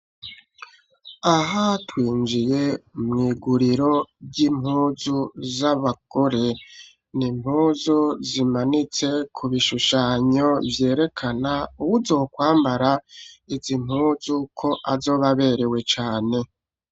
Aha twinjiye mwiguriro ry'impuzu z'abagore nimpuzu zimanitse ku bishushanyo vyerekana uwuzokwambara izi mpuzu ko azobaberewe cane.